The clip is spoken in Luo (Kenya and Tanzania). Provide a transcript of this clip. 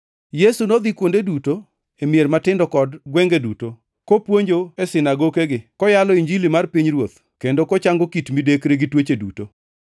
Yesu nodhi kuonde duto, e mier matindo kod gwenge duto, kopuonjo e sinagokegi, koyalo Injili mar pinyruoth, kendo kochango kit midekre gi tuoche duto.